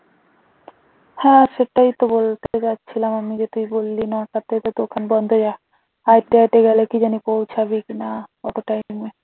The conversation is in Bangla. হাঁটতে হাঁটতে গেলে কি জানি পৌঁছাবে কিনা অতটাই time